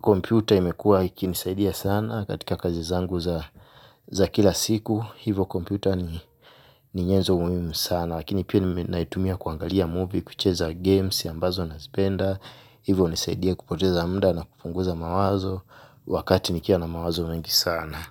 kompyuta imekua ikinisaidia sana katika kazi zangu za kila siku. Hivyo kompyuta ni nyenzo muhimu sana. Lakini pia naitumia kuangalia movie kucheza games ambazo nazipenda. Hivyo hunisaidia kupoteza muda na kupunguza mawazo. Wakati nikiwa na mawazo mengi sana.